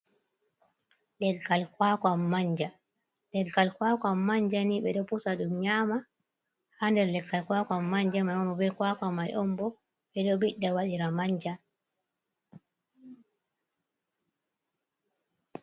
Leggal kwakwan manja, leggal kwakwan manjani ɓeɗo pusa ɗum nyama, ha nder leggal kwakwan manja mai on be kwakwa mai on bo ɓeɗo ɓiɗɗo waɗira manja.